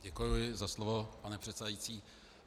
Děkuji za slovo, pane předsedající.